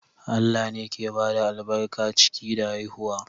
Allah ne ke bada albarkar ciki da haihuwa.